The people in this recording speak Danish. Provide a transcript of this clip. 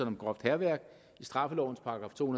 om groft hærværk i straffelovens § to